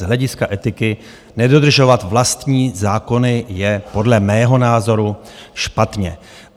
Z hlediska etiky nedodržovat vlastní zákony je podle mého názoru špatně.